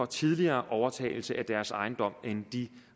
tidligere overtagelse af deres ejendom end de